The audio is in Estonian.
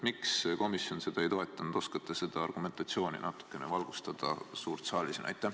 Miks komisjon seda ei toetanud, oskate seda argumentatsiooni natuke valgustada suures saalis?